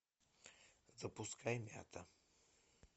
запускай мята